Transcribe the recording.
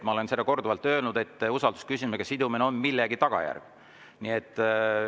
Ma olen seda korduvalt öelnud, et see on millegi tagajärg.